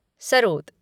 sarod